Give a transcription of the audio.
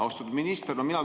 Austatud minister!